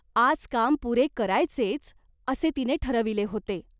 आज काम पुरे करायचेच, असे तिने ठरविले होते.